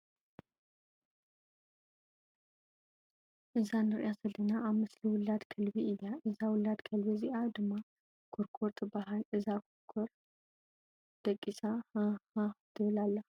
እዛ ንእሪኣ ዘለና ኣብ ምስሊ ውላድ ከልቢ እያ። እዛ ውላድ ከልቢ እዚኣ ድማ ኩርኩር ትባሃል። እዛ ኵርኩር ደቂሳ ሃህሃህ ትብል ኣላ።